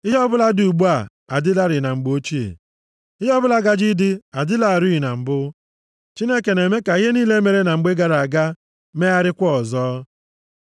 Ihe ọbụla dị ugbu a, adịlarị na mgbe ochie, ihe ọbụla gaje ịdị dịlarị na mbụ. Chineke na-eme ka ihe niile mere na mgbe gara aga megharịakwa ọzọ.